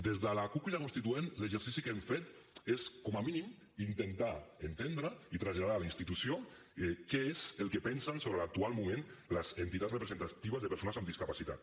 des de la cup crida constituent l’exercici que hem fet és com a mínim intentar entendre i traslladar a la institució què és el que pensen sobre l’actual moment les entitats representatives de persones amb discapacitat